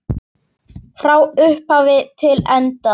Frá upphafi til enda.